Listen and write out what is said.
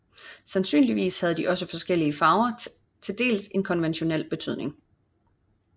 Sandsynligvis havde også de forskellige farver til dels en konventionel betydning